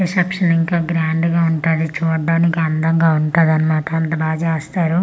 reception ఇంకా grand గా ఉంటాది చూడ్డానికి అందంగా ఉంటాది అన్నమాట అంతా బాగా చేస్తారు ఇక్కడ డే--